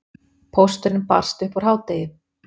Pósturinn barst upp úr hádegi.